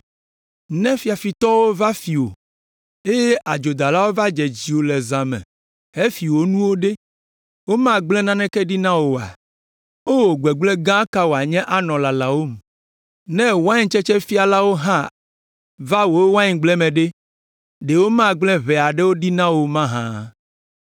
“Ne fiafitɔwo va fi wò, eye adzodalawo va dze dziwò le zã me hefi wò nuwo ɖe, womagblẽ nanewo ɖi na wò oa? O, gbegblẽ gã ka wòanye anɔ lalawòm! Ne waintsetsefilawo hã va wò waingble me ɖe, ɖe womagblẽ ʋɛ aɖewo ɖi na wò o mahã?